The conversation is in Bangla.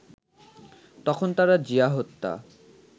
তখন তারা জিয়া হত্যা